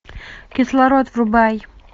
кислород врубай